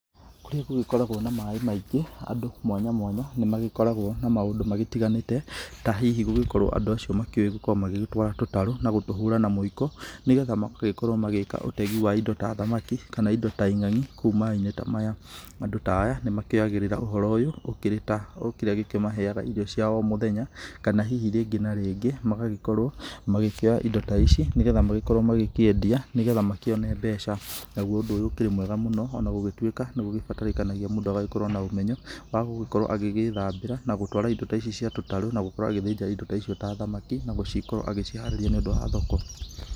Kũrĩa gũgĩkoragwo na maĩ maingĩ, andũ mwanya mwanya, nĩmagĩkoragwo na maũndũ magĩtiganĩte, ta hihi gũgĩkorwo andũ acio makĩũi gũgĩtwara tũtarũ na gũtũhũra na mwĩiko, nĩgetha magagĩkorwo magĩka ũtegi wa indo ta thamaki kana indo ta ing'angi kũu maĩ-inĩ ta maya. Andũ ta aya nĩmakĩoyagĩrĩra ũhoro ũyũ ũkĩrĩ ta o kĩrĩa gĩkĩmaheaga indo cia o mũthenya o mũthenya, kana hihi rĩngĩ na rĩngĩ magagĩkorwo makĩoya indo ta ici nĩgetha magĩkorwo magĩkĩendia nĩgetha makĩone mbeca. Naguo ũndũ ũyũ ũkĩrĩ mwega mũno, ona gũgĩtuĩka nĩgũgĩbataranagia mũndũ agagĩkorwo na ũmenyo wa gũgĩkorwo agĩgĩthambĩra na gũtwara indo ta ici cia tũtarũ na gũkorwo agĩthĩnja indo ta icio ta thamaki, na gũcikorwo agĩciharĩria nĩũndũ wa thoko.